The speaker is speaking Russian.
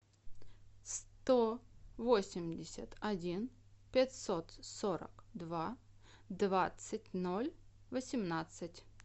сто восемьдесят один пятьсот сорок два двадцать ноль восемнадцать